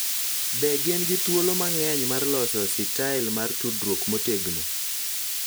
Be gin gi thuolo mang�eny mar loso sitael mar tudruok motegno